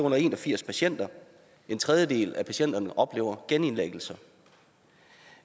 en og firs patienter en tredjedel af patienterne der oplevede genindlæggelser